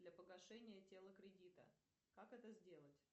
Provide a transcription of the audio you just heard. для погашения тела кредита как это сделать